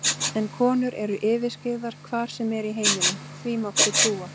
En konur eru yfirskyggðar hvar sem er í heiminum, því máttu trúa.